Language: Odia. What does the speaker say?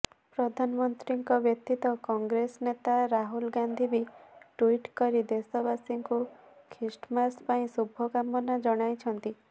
ପ୍ରଧାନମନ୍ତ୍ରୀଙ୍କ ବ୍ୟତୀତ କଂଗ୍ରେସନେତା ରାହୁଲ ଗାନ୍ଧୀ ବି ଟୁଇଟ କରି ଦେଶବାସୀଙ୍କୁ ଖ୍ରୀଷ୍ଟମାସ ପାଇଁ ଶୁଭକାମନା ଜଣାଇଛନ୍ତି